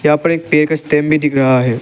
यहां पर एक पेड़ का स्टेम भी दिख रहा है।